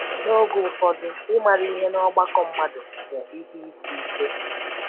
N’oge ụfọdụ, ịmara ihe n’ọgbakọ mmadụ bụ ihe isi ike.